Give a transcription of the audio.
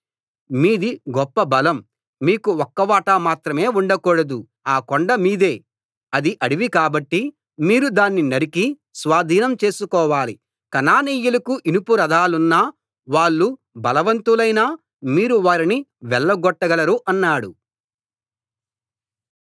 మీది గొప్ప బలం మీకు ఒక్క వాటా మాత్రమే ఉండకూడదు ఆ కొండ మీదే అది అడవి కాబట్టి మీరు దాన్ని నరికి స్వాధీనం చేసుకోవాలి కనానీయులకు ఇనుప రథాలున్నా వాళ్ళు బలవంతులైనా మీరు వారిని వెళ్ళగొట్టగలరు అన్నాడు